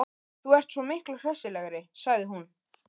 Þú ert svo miklu hressilegri, sagði hún.